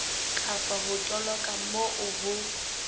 kapa ho toloka moo ho